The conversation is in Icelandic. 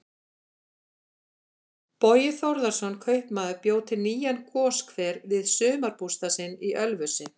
Bogi Þórðarson kaupmaður bjó til nýjan goshver við sumarbústað sinn í Ölfusi.